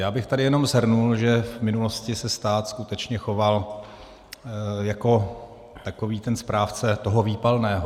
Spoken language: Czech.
Já bych tady jenom shrnul, že v minulosti se stát skutečně choval jako takový ten správce toho výpalného.